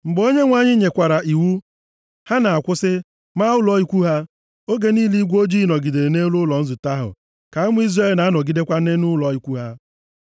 Mgbe Onyenwe anyị nyekwara iwu, ha na-akwụsị, maa ụlọ ikwu ha. Oge niile igwe ojii nọgidere nʼelu ụlọ nzute ahụ ka ụmụ Izrel na-anọgidekwa nʼụlọ ikwu ha.